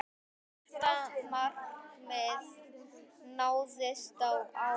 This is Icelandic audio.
Þetta markmið náðist á árinu.